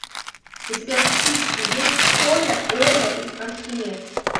у тебя в списке есть коля оля и архимед